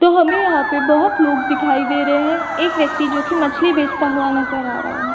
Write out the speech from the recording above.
तो हमें यहाँ पे बहोत लोग दिखाई दे रहे हैं। एक व्यक्ति जो कि मछली बेचता हुए नज़र आ रहा है।